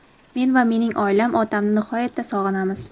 men va mening oilam otamni nihoyatda sog‘inamiz.